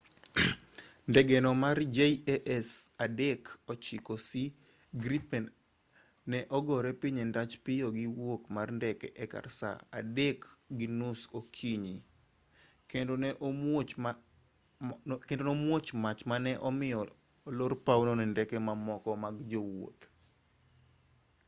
ndegeno mar jas 39c gripen ne ogore piny e ndach piyo gi wuok mar ndeke e kar saa 9:30 okinyi seche mag aluorano 0230 utc kendo ne omuoch mach ma ne omiyo olor pawno ne ndeke mamoko mag jowuoth